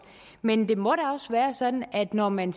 men det må da også være sådan at når man